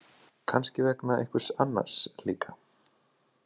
Kannski vegna einhvers annars líka.